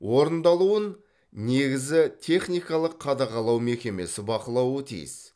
орындалуын негізі техникалық қадағалау мекемесі бақылауы тиіс